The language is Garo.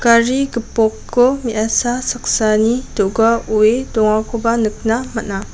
gari gipokko me·asa saksani do·ga oe dongakoba nikna man·a.